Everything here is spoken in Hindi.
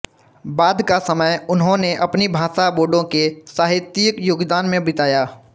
बाद का समय उन्होंने अपनी भाषा बोडो के साहित्यिक योगदान में बिताया